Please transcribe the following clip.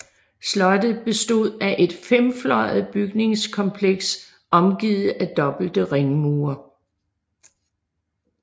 Slottet bestod af et femfløjet bygningskompleks omgivet af dobbelte ringmure